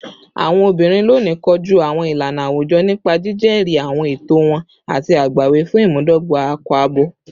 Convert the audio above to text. Awọn obinrin loni koju awọn ilana awujọ nipa jijẹri awọn ẹtọ wọn ati agbawi fun imudogba akọ-abo